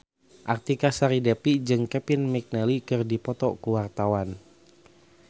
Artika Sari Devi jeung Kevin McNally keur dipoto ku wartawan